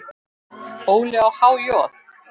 Óli á há joð?